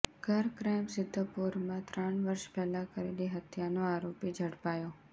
ઘર ક્રાઈમ સિધ્ધપુરમાં ત્રણ વર્ષ પહેલા કરેલી હત્યાનો આરોપી ઝડપાયો